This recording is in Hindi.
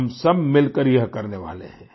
हम सब मिलकर यह करने वाले है